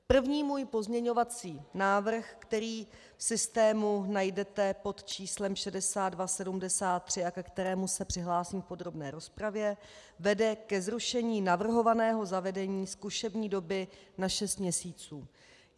První můj pozměňovací návrh, který v systému najdete pod číslem 6273 a ke kterému se přihlásím v podrobné rozpravě, vede ke zrušení navrhovaného zavedení zkušební doby na šest měsíců.